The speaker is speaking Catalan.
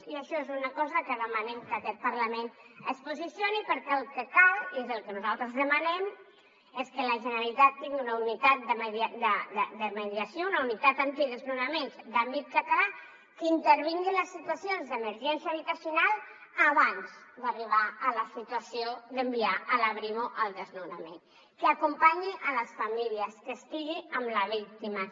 i això és una cosa que demanem que aquest parlament es posicioni perquè el que cal i és el que nosaltres demanem és que la generalitat tingui una unitat de mediació una unitat antidesnonaments d’àmbit català que intervingui en les situacions d’emergència habitacional abans d’arribar a la situació d’enviar la brimo al desnonament que acompanyi les famílies que estigui amb la víctima